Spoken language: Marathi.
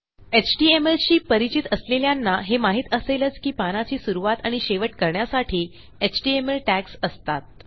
htmlशी परिचित असलेल्यांना हे माहित असेलच की पानाची सुरूवात आणि शेवट करण्यासाठी एचटीएमएल टॅग्स असतात